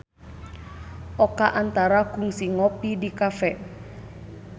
Oka Antara kungsi ngopi di cafe